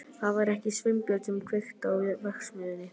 Það var ekki Sveinbjörn sem kveikti í verksmiðjunni.